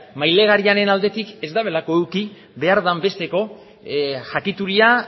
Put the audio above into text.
mailegulariaren aldetik ez dutelako eduki behar den besteko jakituria